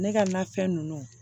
Ne ka nafɛn ninnu